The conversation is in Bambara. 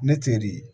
Ne teri ye